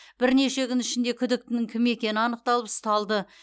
бірнеше күн ішінде күдіктінің кім екені анықталып ұсталды